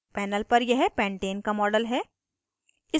panel पर यह pentane का model है